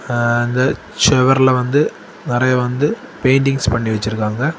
ஹ வந்து சுவர்ல வந்து நெறைய வந்து பெயின்டிங்ஸ் பண்ணி வச்சிருக்காங்க.